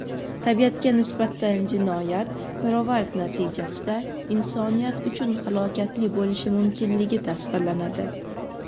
tabiatga nisbatan jinoyat pirovard-natijada insoniyat uchun halokatli bo‘lishi mumkinligi tasvirlanadi.